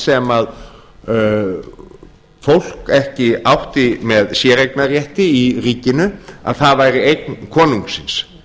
sem fólk ekki átti með séreignarrétti í ríkinu að það væri eign konungsins